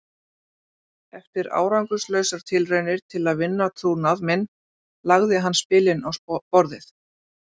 Eftir árangurslausar tilraunir til að vinna trúnað minn lagði hann spilin á borðið.